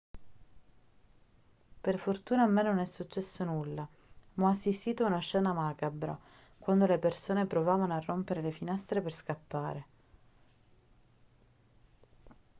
per fortuna a me non è successo nulla ma ho assistito a una scena macabra quando le persone provavano a rompere le finestre per scappare